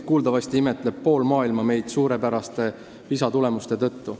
Kuuldavasti imetleb pool maailma meid PISA suurepäraste tulemuste tõttu.